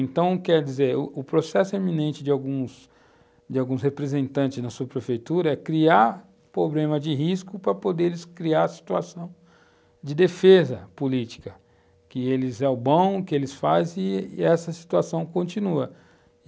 Então, quer dizer, o processo eminente de alguns, de alguns representantes da sua prefeitura é criar problema de risco para poderem criar situação de defesa política, que eles são o bom, que eles fazem, e eh... essa situação continua.